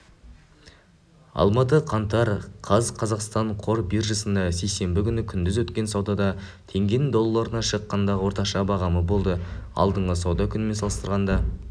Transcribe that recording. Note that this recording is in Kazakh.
алматы қаңтар қаз қазақстан қор биржасында сейсенбі күні күндіз өткен саудада теңгенің долларына шаққандағы орташа бағамы болды алдыңғы сауда күнімен салыстырғанда